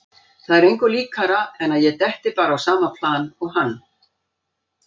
Það er engu líkara en að ég detti bara á sama plan og hann.